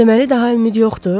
Deməli daha ümid yoxdur?